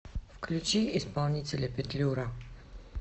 включи исполнителя петлюра